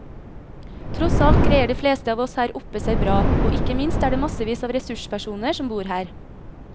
Tross alt greier de fleste av oss her oppe seg bra, og ikke minst er det massevis av ressurspersoner som bor her.